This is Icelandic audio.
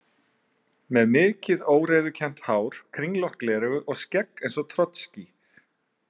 Með mikið óreiðukennt hár, kringlótt gleraugu og skegg eins og Trotskí.